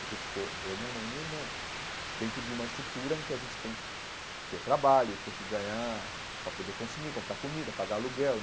Porque ficou eu, minha mãe e minha irmã dentro de uma estrutura em que a gente tem que ter trabalho, tem que ganhar para poder consumir, comprar comida, pagar aluguel.